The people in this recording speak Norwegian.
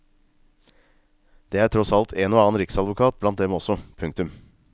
Det er tross alt en og annen riksadvokat blant dem også. punktum